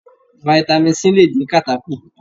Fitami C lè dín kàtá kù.